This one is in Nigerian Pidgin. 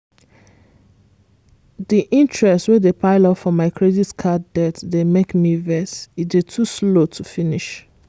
di interest wey dey pile up for my credit card debt dey make me vex—e dey too slow to finish!